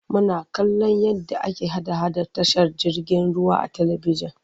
Muna kallon yadda ake hada-hada a tashar jirgin ruwa a talibijin.